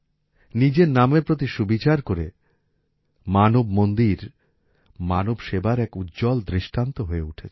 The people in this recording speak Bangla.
নিজের নামের প্রতি সুবিচার করে মানব মন্দির মানব সেবার এক উজ্জ্বল দৃষ্টান্ত হয়ে উঠেছে